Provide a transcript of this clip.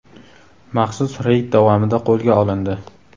maxsus reyd davomida qo‘lga olindi.